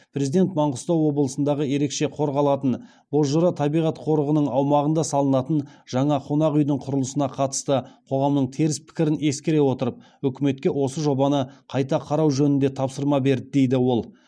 президент маңғыстау облысындағы ерекше қорғалатын бозжыра табиғат қорығының аумағына салынатын жаңа қонақ үйдің құрылысына қатысты қоғамның теріс пікірін ескере отырып үкіметке осы жобаны қайта қарау жөнінде тапсырма берді дейді ол